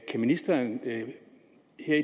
ministeren her et